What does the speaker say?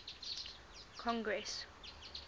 congress